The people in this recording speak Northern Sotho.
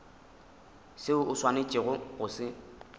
seo o swanetšego go se